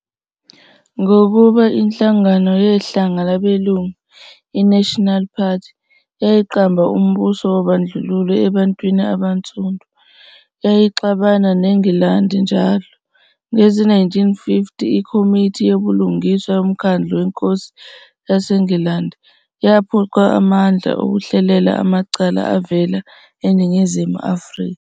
Ngokuba iNhlangano Yehlanga Labelungu, i-National Party, yayiqamba umbuso wobandlululo ebantwini abansundu, yayixabana neNgilandi njalo. Ngezi-1950, iKhomithi YoBulungiswa yoMkhandlu weNkosi yaseNgilandi yaphucwa amandla okuhlulela amacala avela eNingizimu Afrika.